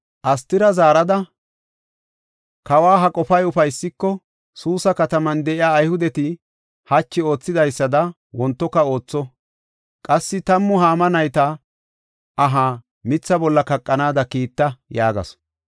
Astira zaarada, “Kawa ha qofay ufaysiko, Suusa kataman de7iya Ayhudeti hachi oothidaysada wontoka ootho. Qassi tammu Haama nayta ahaa mitha bolla kaqanaada kiitta” yaagasu.